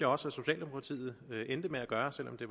også at socialdemokratiet endte med at gøre selv om det